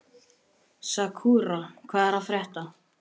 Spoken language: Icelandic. Sakura, hvað er að frétta?